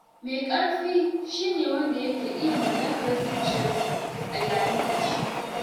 Mai ƙarfi shi ne wanda yake iya mallakar zuciyarsa a yayin fushi.